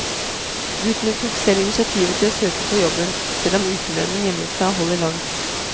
Guttene tok selv initiativ til å søke på jobben, selv om ukelønnen hjemmefra holder langt.